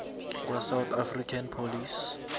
kwasouth african police